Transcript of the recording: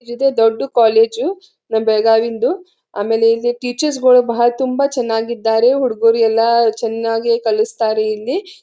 ಇದೆ ದೊಡ್ಡ ಕಾಲೇಜ್ ಬೆಳಗಾಂ ಇಂದು ಆಮೇಲೆ ಇಲ್ಲಿ ಟೀಚರ್ಸ್ ಗಳು ಬಹಳ ತುಂಬಾ ಚನ್ನಾಗಿ ಇದ್ದಾರೆ ಹುಡುಗರುಯೆಲ್ಲಾ ಚನ್ನಾಗಿ ಕಲಿಸತ್ತಾರೆ ಇಲ್ಲಿ.